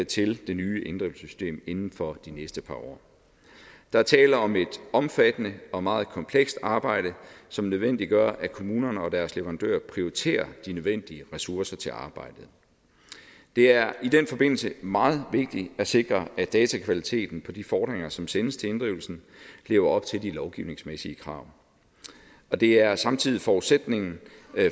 til det nye inddrivelsessystem inden for de næste par år der er tale om et omfattende og meget komplekst arbejde som nødvendiggør at kommunerne og deres leverandører prioriterer de nødvendige ressourcer til arbejdet det er i den forbindelse meget vigtigt at sikre at datakvaliteten på de fordringer som sendes til inddrivelse lever op til de lovgivningsmæssige krav det er samtidig forudsætningen